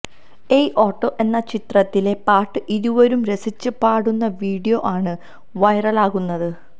ഏയ് ഓട്ടോ എന്ന ചിത്രത്തിലെ പാട്ട് ഇരുവരും രസിച്ച് പാടുന്ന വീഡിയോ ആണ് വൈറലാകുന്നത്